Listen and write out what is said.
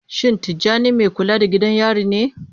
Shin Tijjani mai kula da gidan yari ne?